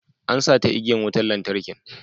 An sata igiyan wutan lantarkin.